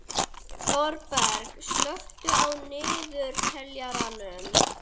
Þorberg, slökktu á niðurteljaranum.